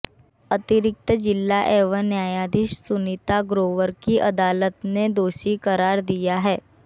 अतिरिक्त जिला एवं न्यायाधीश सुनीता ग्रोवर की अदालत ने दोषी करार दिया है